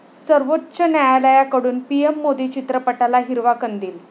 सर्वोच्च न्यायालयाकडून 'पीएम मोदी' चित्रपटाला हिरवा कंदील